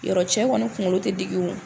Yɔrɔ cɛ kɔni kunkolo tɛ digi o